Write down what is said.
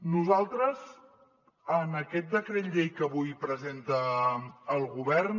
nosaltres en aquest decret llei que avui presenta el govern